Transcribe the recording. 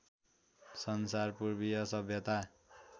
संसार पूर्वीय सभ्यता